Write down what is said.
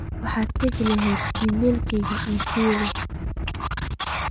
waxaad tagi lahayd iimaylkayga ii firi